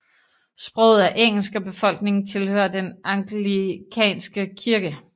Sproget er engelsk og befolkningen tilhører Den anglikanske kirke